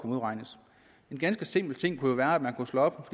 modregnes en ganske simpel ting kunne jo være at man kunne slå op